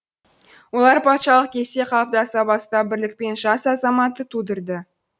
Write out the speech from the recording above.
олар патшалық кезде қалыптаса бастап бірлік пен жас азаматты тудырды